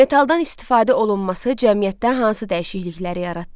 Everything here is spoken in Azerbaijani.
Metaldan istifadə olunması cəmiyyətdə hansı dəyişiklikləri yaratdı?